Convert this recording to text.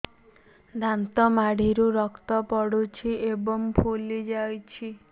ଦାନ୍ତ ମାଢ଼ିରୁ ରକ୍ତ ପଡୁଛୁ ଏବଂ ଫୁଲି ଯାଇଛି